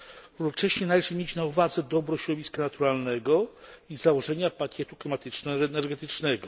Równocześnie należy mieć na uwadze dobro środowiska naturalnego i założenia pakietu klimatyczno energetycznego.